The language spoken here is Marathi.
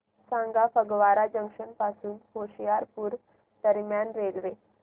सांगा फगवारा जंक्शन पासून होशियारपुर दरम्यान रेल्वे